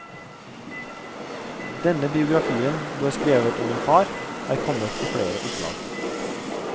Den biografien du har skrevet om din far, er kommet i flere opplag.